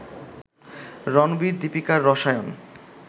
রণবীর-দীপিকার রসায়ন